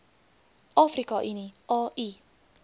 afrika unie au